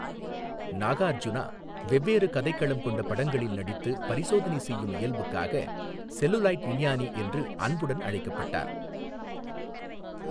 நாகார்ஜுனா வெவ்வேறு கதைக்களம் கொண்ட படங்களில் நடித்து பரிசோதனை செய்யும் இயல்புக்காக செல்லுலாயிட் விஞ்ஞானி என்று அன்புடன் அழைக்கப்பட்டார்.